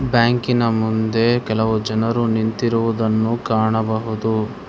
ಬ್ಯಾಂಕಿನ ಮುಂದೆ ಕೆಲವು ಜನರು ನಿಂತಿರುವುದನ್ನು ಕಾಣಬಹುದು.